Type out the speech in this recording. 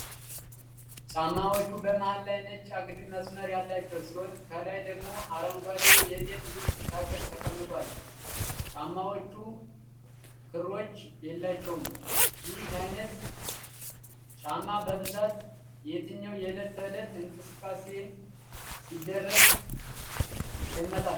ጫማዎቹ በመሃል ላይ ነጭ አግድም መስመር ያላቸው ሲሆን ከላይ ደግሞ አረንጓዴ የቤት ውስጥ ተክል ተቀምጧል። ጫማዎቹ ክሮች የላቸውም። ይህ አይነት ጫማ በብዛት የትኛው የዕለት ተዕለት እንቅስቃሴ ሲደረግ ይመረጣል?